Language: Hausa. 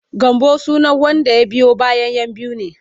Gambo sunan wanda ya biyo bayan 'yan biyu ne.